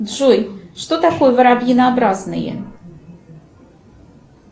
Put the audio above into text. джой что такое воробьинообразные